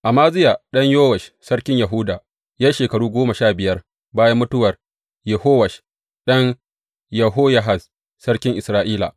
Amaziya ɗan Yowash sarkin Yahuda ya yi shekaru goma sha biyar bayan mutuwar Yehowash ɗan Yehoyahaz sarkin Isra’ila.